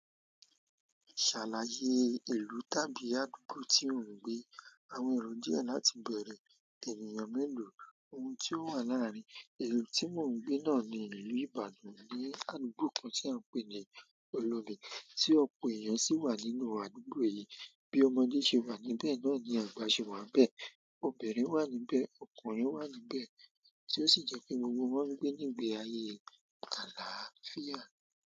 Ṣàlàyé ìlú tàbí àdúgbò tí ò ń gbé, àwọn ìlú díẹ̀ láti bẹ̀rẹ̀, ènìyàn mélòó, ohun tí ó wà láàrin, ìlú tí mo ń gbé náà ni ìlú Ìbàdàn, ní àdúgbò kan tí à ń pè ní Olóbe, tí ọ̀pọ̀ èèyàn sì wà nínú àdúgbò yìí, bí ọmọdé ṣe wà níbẹ̀, náà ni àgbà ṣe wà n bẹ̀, obìnrin wà níbẹ̀, ọkùnrin wà níbẹ̀, tí ó sì jẹ́ pé gbogbo wọn ń gbé nígbe ayé àlàáfíà.